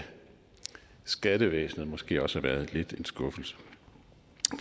skattevæsenet måske også har været lidt af en skuffelse